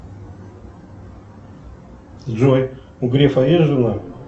джой у грефа есть жена